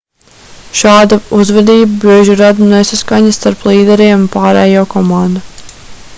šāda uzvedība bieži rada nesaskaņas starp līderiem un pārējo komandu